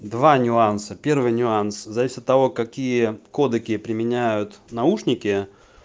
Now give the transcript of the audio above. два нюанса первый нюанс зависит от того какие кодеки применяют наушники